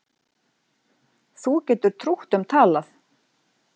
Þú getur trútt um talað